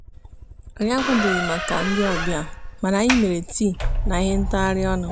anyị akwadoghi maka ndị ọbịa mana anyị mere tii na ihe ntagharị ọnụ.